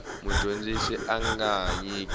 mudyondzi a nga ha nyika